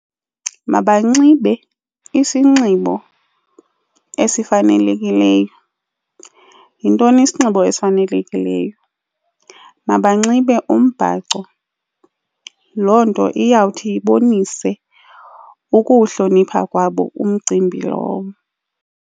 Mabanxibe isinxibo esifanelekileyo. Yintoni isinxibo ezifanelekileyo? Mabanxibe umbhaco, loo nto iyawuthi ibonise ukuwuhlonipha kwabo umcimbi lowo.